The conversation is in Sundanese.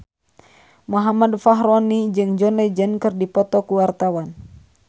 Muhammad Fachroni jeung John Legend keur dipoto ku wartawan